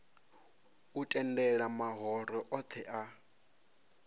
u tendela mahoro othe a